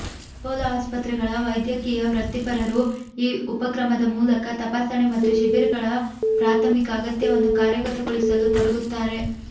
Apollo ಆಸ್ಪತ್ರೆಗಳ ವೈದ್ಯಕೀಯ ವೃತ್ತಿಪರರು ಈ ಉಪಕ್ರಮದ ಮೂಲಕ ತಪಾಸಣೆ ಮತ್ತು ಶಿಬಿರಗಳ ಪ್ರಾಥಮಿಕ ಅಗತ್ಯವನ್ನು ಕಾರ್ಯಗತಗೊಳಿಸಲು ತೊಡಗುತ್ತಾರೆ